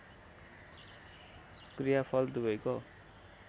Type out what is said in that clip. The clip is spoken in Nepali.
क्रिया फल दुवैको